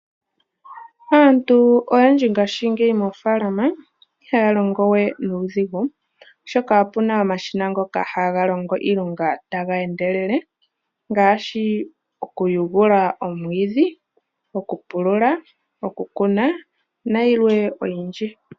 Aantu oyendji ngaashingeyi moofaalama ihaya longowe nuudhigu, oshoka opuna omashina ngoka haga longo iilonga tageendelele ngaashi, okuyugula omwiidhi, okupulula, okukuna nayilwe oyindji.